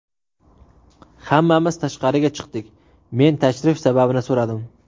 Hammamiz tashqariga chiqdik, men tashrif sababini so‘radim.